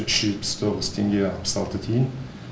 үш жүз жетпіс тоғыз теңге алпыс алты тиын